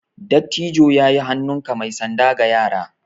Dattijo ya yi hannunka mai sanda ga yara.